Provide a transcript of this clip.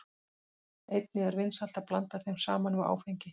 Einnig er vinsælt að blanda þeim saman við áfengi.